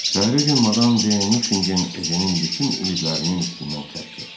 Səhərisi gün Madam de Nuxingen Ejinin bütün ümidlərinin üstündən xətt çəkdi.